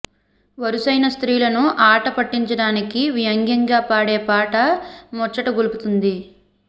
వరుసైన స్త్రీలను ఆట పట్టించడానికి వ్యంగ్యం గా పాడే పాట ముచ్చటగొల్పుతుంది